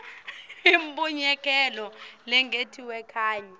imbuyekelo lengetiwe kanye